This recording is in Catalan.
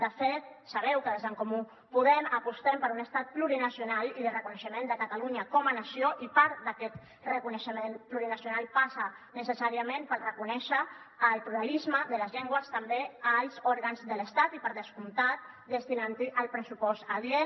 de fet sabeu que des d’en comú podem apostem per un estat plurinacional i de reconeixement de catalunya com a nació i part d’aquest reconeixement plurinacional passa necessàriament per reconèixer el pluralisme de les llengües també als òrgans de l’estat i per descomptat destinant hi el pressupost adient